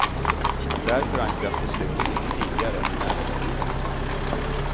Där förankras besluten mycket tidigare än i näringslivet.